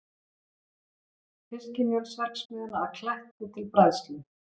Fiskimjölsverksmiðjuna að Kletti til bræðslu.